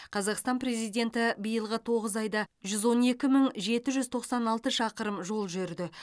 қазақстан президенті биылғы тоғыз айда жүз он екі мың жеті жүз тоқсан алты шақырым жол жүрді